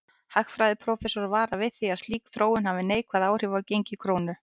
Hagfræðiprófessor varar við því að slík þróun hafi neikvæð áhrif á gengi krónu.